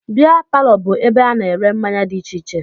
Bịa palọ bụ ebe ana ere mmanya dị iche iche.